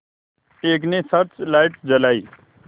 एक ने search light जलाई